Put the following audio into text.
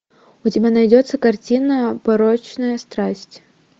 у тебя найдется картина порочная страсть